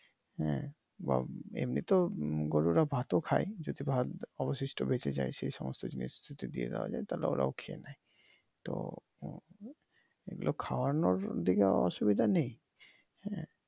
হম বা এমনিতো গরুরা ভাত ও খায় যদি ভাত অবশিষ্ট বেচে যায় সে সমস্ত জিনিস যদি দিয়ে দেওয়া যায় তাহলে ওরাও খেয়ে নেয় তো এইগুলো খাওয়ানোর দিকে অসুবিধা নেই।